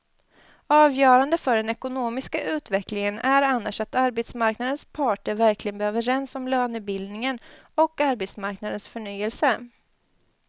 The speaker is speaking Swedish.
Avgörande för den ekonomiska utvecklingen är annars att arbetsmarknadens parter verkligen blir överens om lönebildningen och arbetsmarknadens förnyelse.